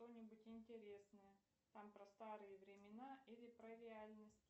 что нибудь интересное там про старые времена или про реальность